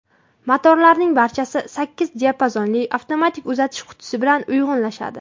Motorlarning barchasi sakkiz diapazonli avtomatik uzatish qutisi bilan uyg‘unlashadi.